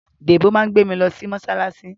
Dèbó máa gbé mi lọ sí mọ́ṣáláṣí